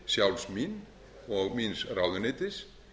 sjálfs mín og míns ráðuneytis